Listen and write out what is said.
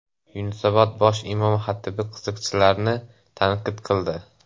Yunusobod bosh imom-xatibi qiziqchilarni tanqid qildi.